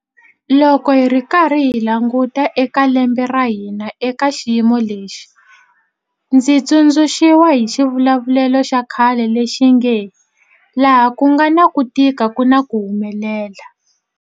Loko hi karhi hi languta eka lembe ra hina eka xiyimo lexi, ndzi tsundzu xiwa hi xivulavulelo xa khale lexi nge, laha ku nga na ku tika ku na ku humelela.